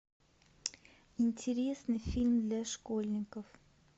интересный фильм для школьников